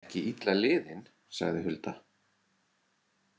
Ekki illa liðin, sagði Hulda.